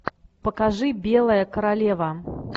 покажи белая королева